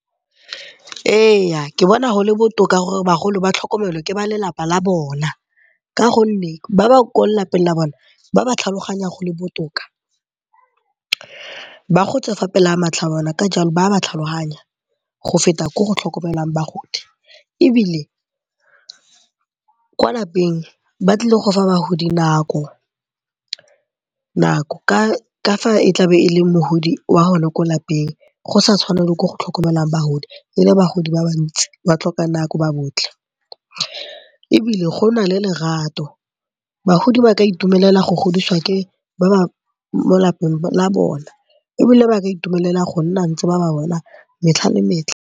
Ee, ke bona go le botoka gore bagolo ba tlhokomelwe ke ba lelapa la bona ka gonne ba bang kwa lelapeng la bona ba ba tlhaloganyang go le botoka. Ba gotse fa pele ga matlho a bona ka jalo ba ba tlhaloganya go feta ko go tlhokomelwang bagodi. Ebile kwa lapeng ba tlile go fa bagodi nako ka fa e tlabe e le mogodi wa go ne kwa lapeng go sa tshwane le ko go tlhokomelwang bagodi e le bagodi ba bantsi ba tlhoka nako ba botlhe. Ebile go na le lerato, bagodi ba ka itumelela go godiswa ke ba ba mo lapeng la bona ebile ba ka itumelela go nna ntse ba ba bona metlha le metlha.